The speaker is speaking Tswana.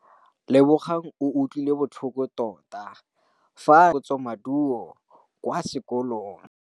Lebogang o utlwile botlhoko tota fa a neelwa phokotsômaduô kwa sekolong.